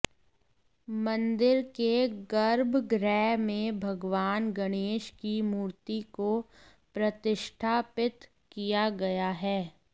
मंदिर के गर्भगृह में भगवान गणेश की मूर्ति को प्रतिष्ठापित किया गया है